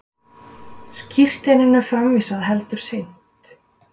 Skírteininu framvísað heldur seint